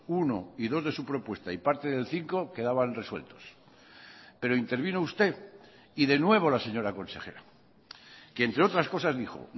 uno y dos de su propuesta y parte del cinco quedaban resueltos pero intervino usted y de nuevo la señora consejera que entre otras cosas dijo